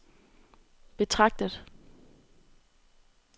betragtet